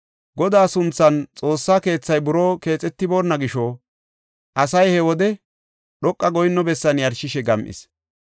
Godaa sunthan Xoossa keethay buroo keexetiboonna gisho asay he wode dhoqa goyinno bessan yarshishe gam7is.